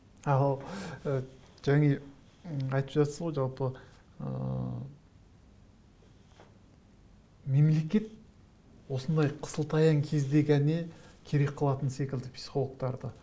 ал ы айтып жатырсыз ғой жалпы ыыы мемлекет осындай қысыл таяң кезде ғана керек қылатын секілді психологтарды